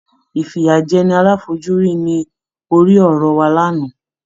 Ìfìyàjẹni aláfojúrí ní orí-ọ̀rọ̀ wa lánàá.